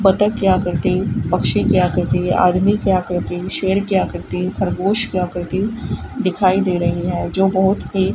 बत्तख क्या करते पक्षी क्या करती आदमी की क्या करती शेर क्या करती खरगोश क्या करती दिखाई दे रही है जो बहुत ही --